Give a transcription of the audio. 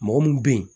Mɔgɔ mun be yen